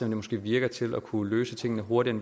det måske virker til at kunne løse tingene hurtigere